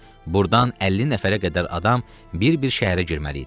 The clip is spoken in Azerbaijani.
Burdan 50 nəfərə qədər adam bir-bir şəhərə girməli idi.